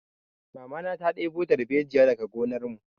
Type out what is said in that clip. Mamana ta ɗebo dalbejiya daga gonar mu